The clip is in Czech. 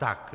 Tak.